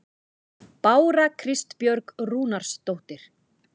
Bára Kristbjörg Rúnarsdóttir